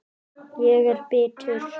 Ég er bitur.